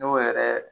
N'o yɛrɛ